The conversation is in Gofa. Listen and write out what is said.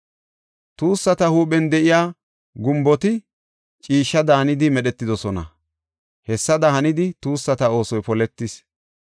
Tuussata huuphen de7iya gumboti ciishshe daanidi medhetidosona. Hessada hanidi tuussata oosoy poletis.